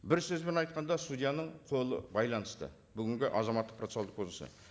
бір сөзбен айтқанда судьяның қолы байланысты бүгінгі азаматтық процессуалдық кодексіне